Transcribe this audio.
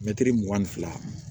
Mɛtiri mugan ni fila